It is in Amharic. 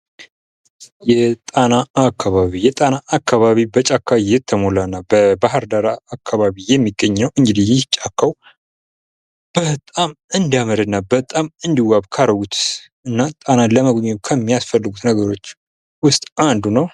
የጣና አካባቢ የጣና አካባቢ በጫካ የተሞላ ነው። በባህር ዳር አካባቢ የሚገኝ ነው። እንግዲህ ይህ ጫካ በጣም እንዲያምር እና በጣም እንዲዋብት ካደረጉት ከሚያስፈልጉት ነገር ውስጥ ጣና አንዱ ነው።